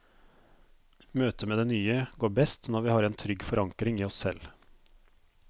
Møtet med det nye går best når vi har en trygg forankring i oss selv.